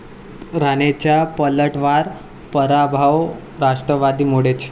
राणेंचा पलटवार, पराभव राष्ट्रवादीमुळेच!